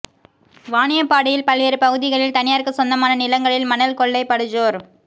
வாணியம்பாடியில் பல்வேறு பகுதிகளில் தனியாருக்கு சொந்தமான நிலங்களில் மணல் கொள்ளை படுஜோர்